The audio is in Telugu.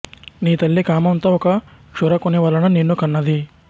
నీ తల్లి కామంతో ఒక క్షురకుని వలన నిన్ను కన్నది